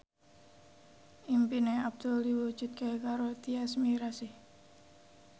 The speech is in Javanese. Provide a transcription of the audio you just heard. impine Abdul diwujudke karo Tyas Mirasih